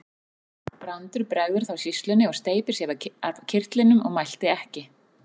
Brandur bregður þá sýslunni og steypir af sér kyrtlinum og mælti ekki.